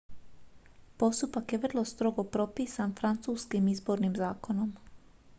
postupak je vrlo strogo propisan francuskim izbornim zakonom